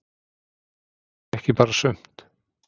Ekki bara sumt.